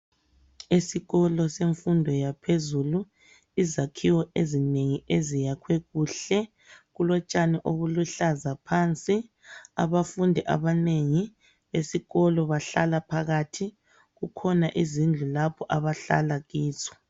Esikolo semfundo yaphezulu, izakhiwo ezinengi eziyakhwe kuhle. Kulotshani obuluhlaza phansi, abafundi abanengi esikolo bahlala phakathi. Kukhona izindlu lapho abahlala kizo